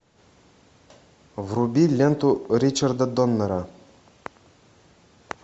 вруби ленту ричарда доннера